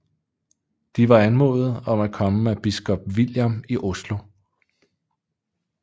De var anmodet om at komme af biskop Viljam i Oslo